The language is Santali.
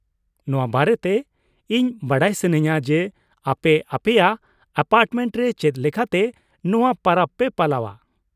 ᱱᱚᱶᱟ ᱵᱟᱨᱮᱛᱮ ᱤᱧ ᱵᱟᱰᱟᱭ ᱥᱟᱱᱟᱧᱼᱟ ᱡᱮ, ᱟᱯᱮ ᱟᱯᱮᱭᱟᱜ ᱮᱯᱟᱨᱴᱢᱮᱱᱴ ᱨᱮ ᱪᱮᱫ ᱞᱮᱠᱟᱛᱮ ᱱᱚᱶᱟ ᱯᱚᱨᱚᱵ ᱯᱮ ᱯᱟᱞᱟᱣᱼᱟ ᱾